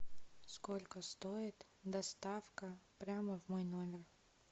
сколько стоит доставка прямо в мой номер